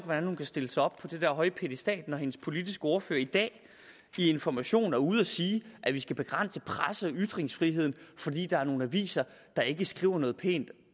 hvordan hun kan stille sig op på den der høje piedestal når hendes politiske ordfører i dag i information er ude at sige at vi skal begrænse presse og ytringsfriheden fordi der er nogle aviser der ikke skriver noget pænt